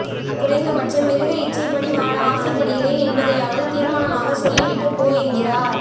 குறைந்தபட்சம் மிருக இச்சைப்படி வாழ ஆசைப்படுகிறேன் என்பதையாவது தீர்மானமாக சொல்லி விட்டுப் போ என்கிறார்